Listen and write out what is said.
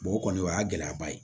o kɔni o y'a gɛlɛyaba ye